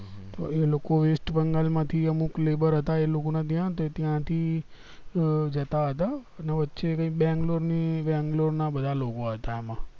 તો એ લોકો વેસ્ટ બંગાળ માં થીએ મુક labor હતા એ લોકો ને ત્યાં થી જતા હતા ને વચ્ચે કૈક બેંગ્લોર ની બેંગ્લોર ના બધા લોકો હતા એમાં